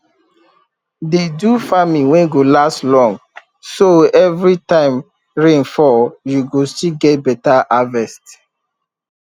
dey do farming wey go last long so every time rain fall you go still get beta harvest